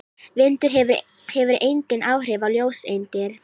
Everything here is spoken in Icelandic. Vindur hefur engin áhrif á ljóseindir.